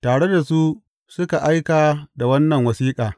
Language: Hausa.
Tare da su suka aika da wannan wasiƙa.